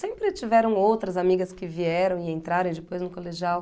Sempre tiveram outras amigas que vieram e entraram e depois no colegial.